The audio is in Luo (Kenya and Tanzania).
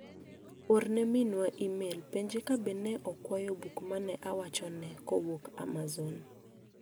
Orne minwa imel penje ka be ne okwayo buk mane awacho ne kowuok amaon.